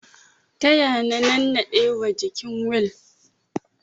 Taya na nannaɗe wa jikin wil